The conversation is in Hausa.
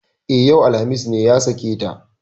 E, yau alhamis ne ya sake ta.